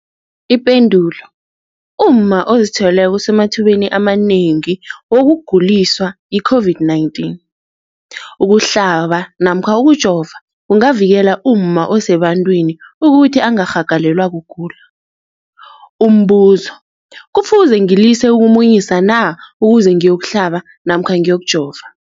Ipendulo, umma ozithweleko usemathubeni amanengi wokuguliswa yi-COVID-19. Ukuhlaba namkha ukujova kungavikela umma osebantwini ukuthi angarhagalelwa kugula. Umbuzo, kufuze ngilise ukumunyisa na ukuze ngiyo kuhlaba namkha ngiyokujova?